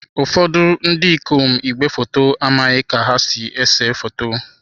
Ụfọdụ ndị ikom igwefoto amaghị ka ha ga-esi na-ese foto.